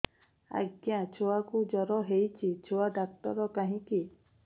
ଆଜ୍ଞା ଛୁଆକୁ ଜର ହେଇଚି ଛୁଆ ଡାକ୍ତର କାହିଁ କି